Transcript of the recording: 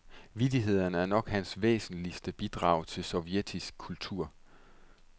Vittighederne er nok hans væsentligste bidrag til sovjetisk kultur.